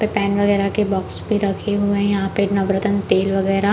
pen वगेरा के box भी रखें हुए है यहाँ पे नवरतन तेल वगेरा --